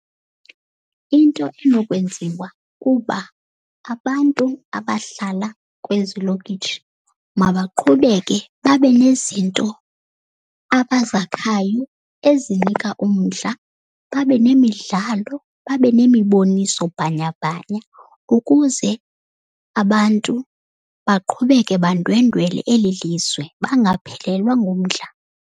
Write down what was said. Into enokwenziwa kuba abantu abahlala kwezi lokitshi mabaqhubeke babe nezinto abazakhayo ezinika umdla. Babe nemidlalo, babe nemiboniso bhanyabhanya ukuze abantu baqhubeke bandwendwele eli lizwe, bangaphelelwa ngumdla.